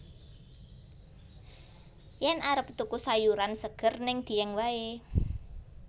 Yen arep tuku sayuran seger ning Dieng wae